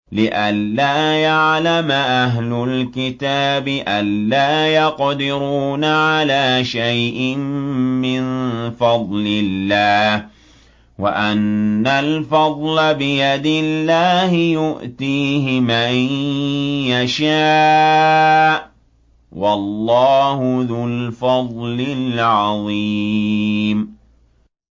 لِّئَلَّا يَعْلَمَ أَهْلُ الْكِتَابِ أَلَّا يَقْدِرُونَ عَلَىٰ شَيْءٍ مِّن فَضْلِ اللَّهِ ۙ وَأَنَّ الْفَضْلَ بِيَدِ اللَّهِ يُؤْتِيهِ مَن يَشَاءُ ۚ وَاللَّهُ ذُو الْفَضْلِ الْعَظِيمِ